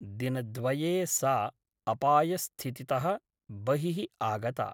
दिनद्वये सा अपायस्थितितः बहिः आगता ।